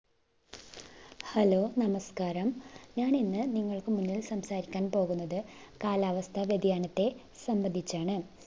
hello നമസ്കാരം ഞാൻ ഇന്ന് നിങ്ങൾക് മുന്നിൽ സംസാരിക്കാൻ പോകുന്നത് കാലാവസ്ഥ വ്യതിയാനത്തെ സംബന്ധിച്ചാണ്